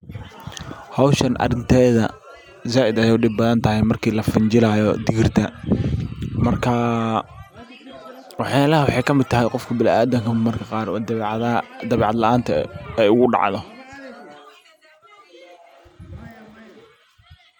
Hawshan arinteeda zaiid ayay u dhib badantahay marki lafinjilayo digirta. Marka waxayalaha waxay kamid tahay qofka biniadamka marmarka qaar oo dabeecadaha dabeecad laanta eh ay ugu dacdo.